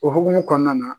O hukumu kɔnɔna na